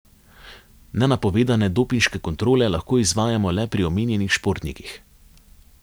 Nenapovedane dopinške kontrole lahko izvajamo le pri omenjenih športnikih.